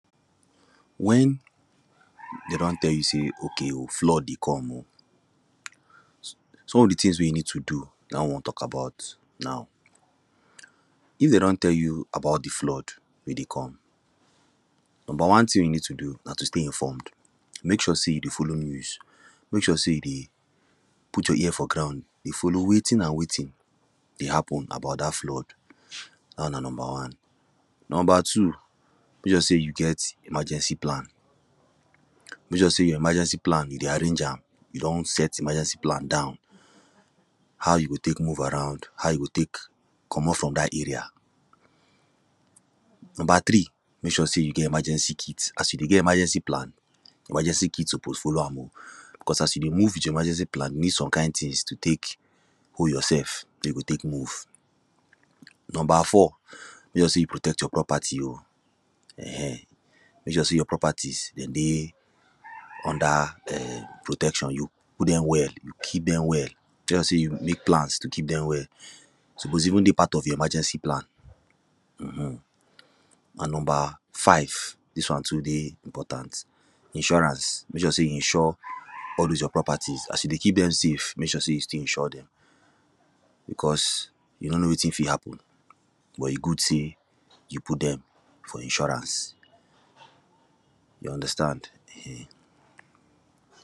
When, them don tell you say, okay o, flood dey come o. Some of the things wey you need to do na I wan talk about, now. If them don tell you about the flood wey dey come, number one thing you need to do, na to stay informed, make sure say you dey follow news. Mek sure say you dey put your ear for ground, dey follow wetin and wetin dey happen about dat flood, dat one na number one. Number two, mek sure say you get emergency plan, mek sure say your emergency plan, you dey arrange am, you don set emergency plan down, how you go tek move around, how you go tek commot from dat area. Number three, mek sure say you get emergency kit, as you dey get emergency plan, emergency kit suppose follow am o, cause as you dey move with your emergency plan, you need some kind things to tek hold yourself wey you go tek move. Number four, mek sure say you protect your property o, um mek sure say your properties, them dey under, um, protection, you hold them well, you keep them well. mek sure say you mek plans to keep them well suppose even dey part of your emergency plan um And number five, dis one too dey important, insurance. Mek sure say you insure all those your properties, as you dey keep them safe, mek sure say you still insure them because, you no know wetin fit happen but, e good say, you put them for insurance, you understand um